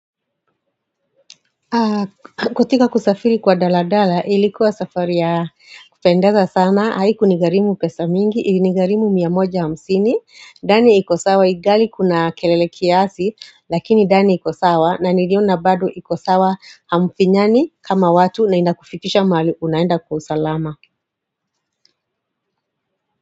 Katika kusafiri kwa daladala ilikuwa safari ya kupendeza sana Haiku ni garimu pesa mingi, ilinigarimu miamoja hamsini ndani iko sawa igali kuna kelele kiasi Lakini ndani ikosawa na niliona bado iko sawa hamfinyani kama watu naina kufikisha mahali unaenda kwa usalama.